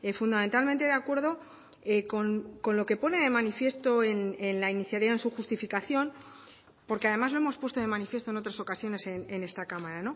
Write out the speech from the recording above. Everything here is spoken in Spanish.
fundamentalmente de acuerdo con lo que pone de manifiesto en la iniciativa en su justificación porque además lo hemos puesto de manifiesto en otras ocasiones en esta cámara